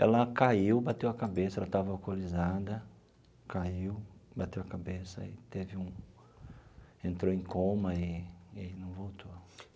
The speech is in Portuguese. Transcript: Ela caiu, bateu a cabeça, ela estava alcoolizada, caiu, bateu a cabeça e teve um... entrou em coma e e não voltou.